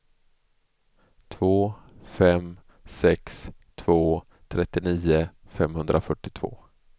två fem sex två trettionio femhundrafyrtiotvå